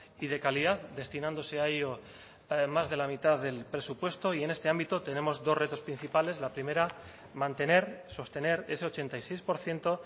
y de calidad destinándose a ello más de la mitad del presupuesto y en este ámbito tenemos dos retos principales la primera mantener sostener ese ochenta y seis por ciento